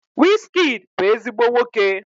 Wizkid bu ezigbo nwoke